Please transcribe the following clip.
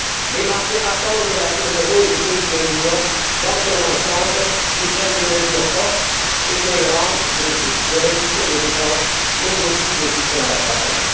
Les marchés attendent de la zone euro et des pays de l'Union dans leur ensemble qu'ils prennent des mesures fortes et cohérentes de réduction des dépenses mais aussi de soutien à la croissance.